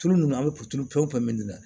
Tulu ninnu an bɛ puturu pɛ nin na